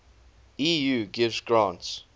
eu gives grants